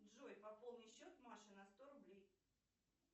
джой пополни счет маше на сто рублей